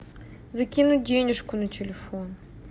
закинуть денежку на телефон